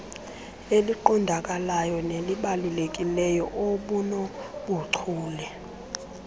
eliqondakalayo nelibalulekileyo obunobuchule